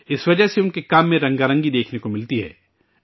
اس وجہ سے ان کے کام میں مختلف رنگ دیکھنے کو ملتے ہیں